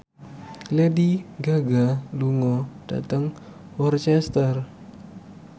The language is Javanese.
Lady Gaga lunga dhateng Worcester